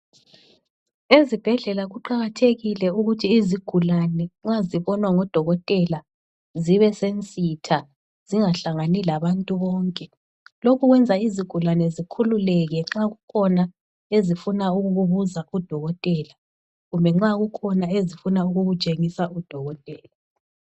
Ezibhedlela kuqakathekile ukuthi izigulane nxa zibonwa ngodokotela zibesensitha, zingahlangani labantu bonke. Lokhu kwenza izigulane zikhululeke nxa kukhona ezifuna ukukubuza kudokotela kumbe nxa kukhona ezifuna ukukutshengisa udokotela.